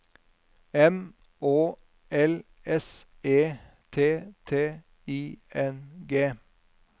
M Å L S E T T I N G